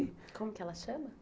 Como que ela chama?